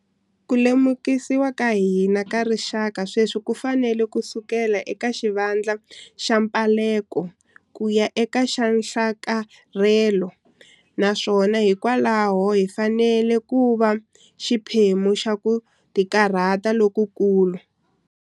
Ku lemukisiwa ka hina ka rixaka sweswi ku fanele ku suka eka xivandla xa mphaleko ku ya eka xa nhlakarhelo, naswona hikwalaho hi fanele ku va xiphemu xa ku tikarhata lokukulu.